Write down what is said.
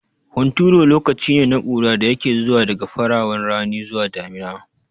Hunturu lokacine na ƙura da yake zuwa daga farawan rani zuwa damina